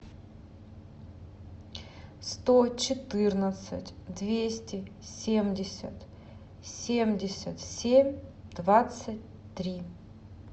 сто четырнадцать двести семьдесят семьдесят семь двадцать три